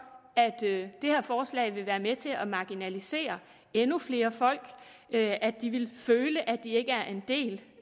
at det her forslag vil være med til at marginalisere endnu flere folk at de vil føle at de ikke er en del